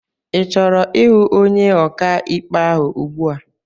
I chọrọ ihụ ọnye ọkà ikpe ahụ ùgbúà?